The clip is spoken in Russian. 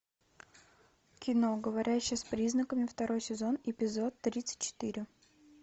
кино говорящая с признаками второй сезон эпизод тридцать четыре